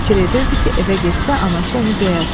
Fikir edirdi ki, evə getsə anası onu döyər.